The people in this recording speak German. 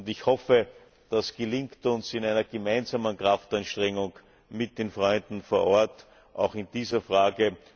Ich hoffe, das gelingt uns in einer gemeinsamen Kraftanstrengung mit den Freunden vor Ort auch in dieser Frage.